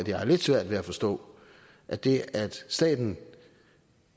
jeg har lidt svært ved at forstå at det at staten